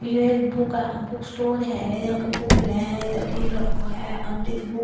यो एक बुक अ books store है यहाँ पे बुक मिले है इधर लिख रखो है अमृत बुक ।